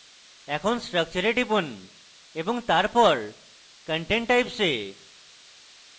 এখন structure এ টিপুন এবং তারপর content types এ